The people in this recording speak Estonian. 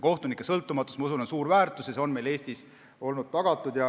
Kohtunike sõltumatus, ma usun, on suur väärtus ja see on meil Eestis olnud tagatud.